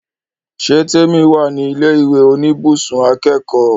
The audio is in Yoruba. Ṣé Témì wà ní ilẹ̀ ìwé oníbùsùn akẹ́kọ̀ọ́?